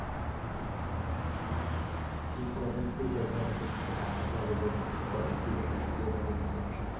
তুমি কদম ফুল দেখবা কবে? তুমি তো ঢাকাই শহর এ বেড়ে উঠেছ। কদমফুল দেখার সুযোগ হয়নি তো তোমার।